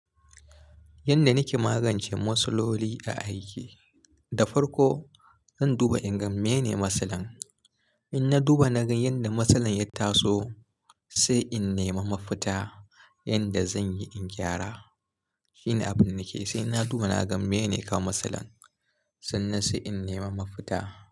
Yanda nake magance matsaloli a aiki, da farko zan duba in ga mene matsalan. In na duba na ga yanda matsalan ya taso, sai in nema mafita yanda zanyi in gyara. Shi ne abinda nake sai na duba na ga mene yakawo matsalan, sannan sai in nemi mafita.